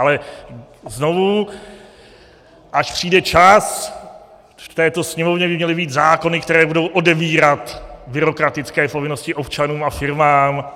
Ale znovu, až přijde čas, v této Sněmovně by měly být zákony, které budou odebírat byrokratické povinnosti občanům a firmám.